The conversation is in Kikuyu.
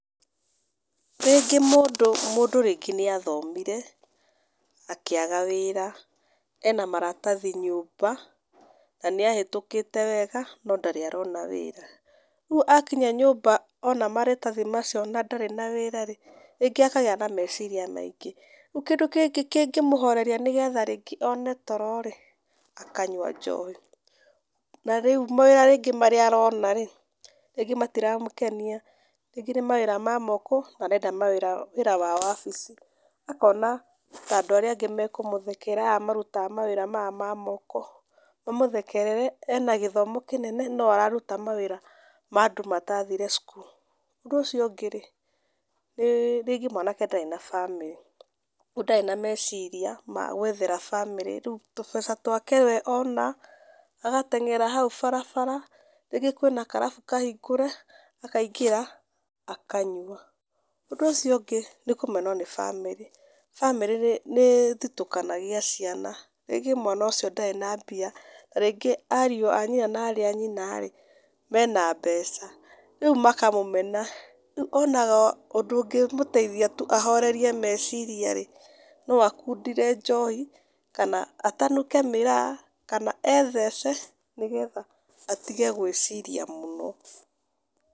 Rĩngĩ mũndũ mũndũ rĩngĩ nĩa thomire akĩaga wĩra ena maratathi nyũmba na nĩahetũkĩte wega no ndarĩ arona wĩra rĩũ akĩnya nyũmba ona maratathĩ macio na ndarĩ na wĩra rĩ rĩngĩ akagĩa na meciria maingĩ, rĩũ kĩndũ kĩngĩ mũhoreriaa nĩgetha one toro rĩ akanyũa njohi na rĩũ mawĩra rĩngĩ arona rĩ ,rĩngĩ matĩramũkenia rĩngĩ nĩ mawĩra mamoko na arenda wĩra wa wabici, akona tandũ arĩa angĩ makũmũthekerera aya marũtga mawĩra maya mangĩ mamoko mamũthekerere ena gĩthomo kĩnene no ararũta mawĩra ma andũ matathire cũkũrũ , ũndũ ũcio ũngĩ rĩ, rĩngĩ mwanake ndarĩ na bamĩrĩ kũogũo nadĩ na meciria na gwethera bamĩrĩ rĩũ tũbeca twake we ona agateng'era haũ barabara rĩngĩ kwĩna karabũ kahingũre akaingĩra akanyũa ũndũ ũcio ũngĩ nĩ kũmenwo nĩ bamĩrĩ , bamĩrĩ ĩthũtũkanagia ciana rĩngĩ mwana ũcio ndarĩ na mbia na rĩngĩ ariũ anyina na arĩ anyina rĩ mena mbeca rĩũ makamũmena rĩũ onaga ũndũ ũngĩmũteithia tũ ahorerie maciria rĩ , no akũndĩre njohi kana atanũke mĩraa kana e thece nĩgetha atĩge gwĩciria mũno.